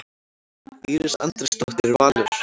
Íris Andrésdóttir, Valur.